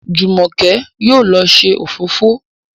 Jumoke yóò ló se òfófó.